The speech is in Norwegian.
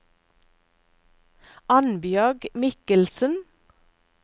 Annbjørg Mikkelsen